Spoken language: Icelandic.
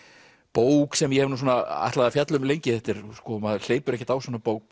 bók sem ég hef ætlað að fjalla um lengi maður hleypur ekkert á svona bók